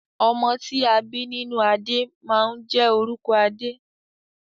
Ọmọ ti a bi nínú adé máa n jẹ orúkọ adé.